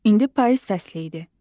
İndi payız fəsli idi.